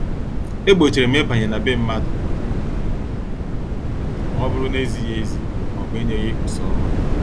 E gbochirim ịbanye n' be mmadụ ma ọbụrụ na- ezighị ezi maọbụ enyeghi usa ọma.